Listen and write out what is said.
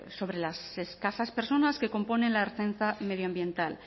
sobre las escasas personas que componen la ertzaintza medioambiental